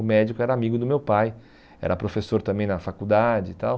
O médico era amigo do meu pai, era professor também na faculdade e tal.